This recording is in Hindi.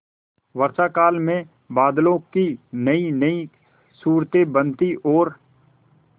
वर्षाकाल में बादलों की नयीनयी सूरतें बनती और